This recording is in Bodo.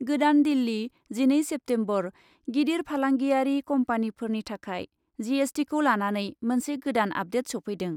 गोदान दिल्ली , जिनै सेप्तेम्बर, गिदिर फालांगियारि कम्पानीफोरनि थाखाय जिएसटिखौ लानानै मोनसे गोदान आपडेट सौफैदों ।